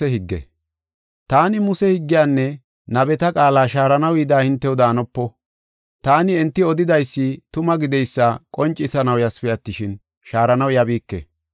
“Taani Muse higgiyanne nabeta qaala shaaranaw yida hintew daanopo. Taani, enti odidaysi tuma gideysa qoncisanaw yasipe attishin, shaaranaw yabiike.